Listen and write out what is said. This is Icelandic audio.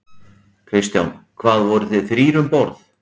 Kristján: Hvað, voruð þið þrír um borð?